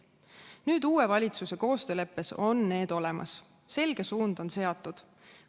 Nüüd on need uue valitsuse koostööleppes olemas, selge suund on seatud.